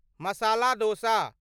मसाला दोस